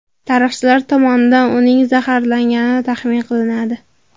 Tarixchilar tomonidan uning zaharlangani taxmin qilinadi.